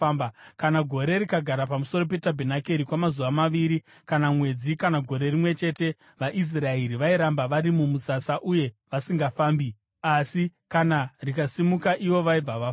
Kana gore rikagara pamusoro petabhenakeri kwamazuva maviri kana mwedzi, kana gore rimwe chete, vaIsraeri vairamba vari mumusasa uye vasingafambi; asi kana rikasimuka ivo vaibva vafamba.